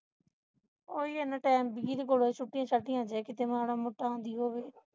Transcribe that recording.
ਉਹੀ ਇਨ੍ਹਾਂ time ਬੀਜੀ ਦੇ ਕੋਲ ਹੈਂ ਛੁੱਟੀਆਂ ਛੋਟੀਆਂ ਆਹ ਮਾੜਾ ਮੋਟਾ ਕਿੱਥੇ ਆਉਂਦੀ ਹੋਵੇ